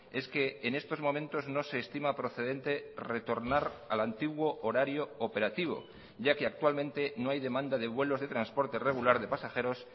es que en estos momentos no se estima procedente retornar al antiguo horario operativo ya que actualmente no hay demanda de vuelos de transporte regular de pasajeros